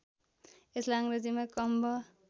यसलाई अङ्ग्रेजीमा कम्ब